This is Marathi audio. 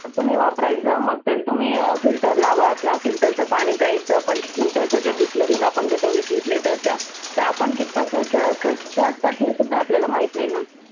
तुम्ही वापरायच मग तेच तुम्ही filter लावा. त्याच filter च पाणि प्यायच पण filter च जे bisleri विस विस लिटरच्या त्यापण कितपत स्वच स्वच्छ असतात हे पण आपल्याला माहित नाही ना.